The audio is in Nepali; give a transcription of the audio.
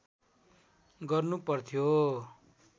गर्नु पर्थ्यो